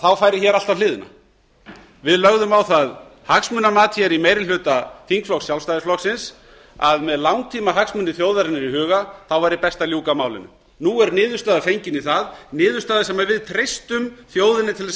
þá færi allt á hliðina við lögðum á það hagsmunamat í meiri hluta þingflokks sjálfstæðisflokksins að með langtímahagsmuni þjóðarinnar í huga væri best að ljúka málinu nú er niðurstaða fengin í það niðurstaða sem við treystum þjóðinni til